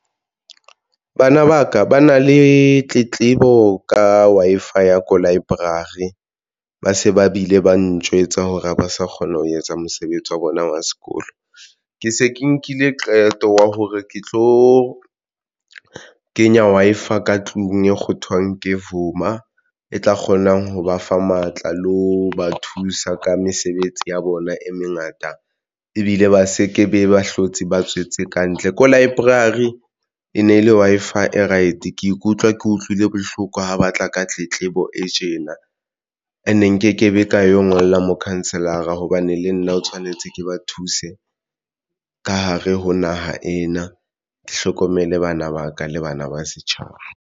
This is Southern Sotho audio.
Bana ba ka ba na le tletlebo ka Wi-Fi ya ko library, ba se ba bile ba ntjwetsa hore ha ba sa kgona ho etsa mosebetsi wa bona wa sekolo, ke se ke nkile qeto ya hore ke tlo kenya Wi-Fi ka tlung e kgothwa ke vuma e tla kgonang ho ba fa matla le ho ba thusa ka mesebetsi ya bona e mengata ebile ba se ke be ba hlotse ba tswetse kantle ko library e ne le Wi-Fi e right. Ke ikutlwa ke utlwile bohloko ha batla ka tletlebo e tjena and nkekebe ka eo ngolle mokhanselara hobane le nna o tshwanetse ke ba thuse ka hare ho naha ena. Ke hlokomele bana ba ka le bana ba setjhaba.